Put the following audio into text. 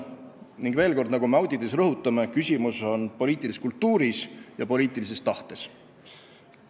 Ning veel kord, nagu me auditiski rõhutame: küsimus on poliitilises kultuuris ja poliitilises tahtes.